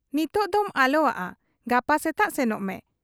ᱱᱤᱛᱚᱜ ᱫᱚᱢ ᱟᱞᱚᱣᱟᱜ ᱟ, ᱜᱟᱯᱟ ᱥᱮᱛᱟᱜ ᱥᱮᱱᱚᱜ ᱢᱮ ᱾'